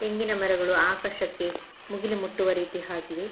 ತೆಂಗಿನ ಮರಗಳು ಆಕಾಶಕ್ಕೆ ಮುಗಿಲು ಮುಟ್ಟುವ ರೀತಿ ಹಾಗಿವೆ.